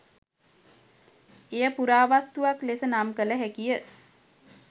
එය පුරාවස්තුවක් ලෙස නම් කළ හැකියි